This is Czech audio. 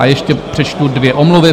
A ještě přečtu dvě omluvy.